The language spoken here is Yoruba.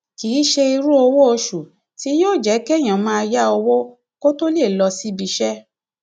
kì í ṣe irú owó oṣù tí yóò jẹ kéèyàn máa yá owó kó tóo lè lọ síbi iṣẹ